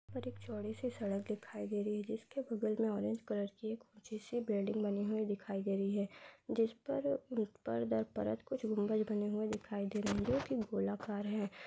ऊपर एक चौड़ी सी सड़क दिखाई दे रही है जिसके बगल में ऑरेंज कलर की एक ऊँची सी बिल्डिंग बनी हुई दिखाई दे रही है। जिस परपर दर परत कुछ गुम्बज बने हुए दिखाई दे रहे हैं जो की गोलाकार है |